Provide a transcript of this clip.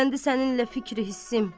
Bəsləndi səninlə fikri hissim.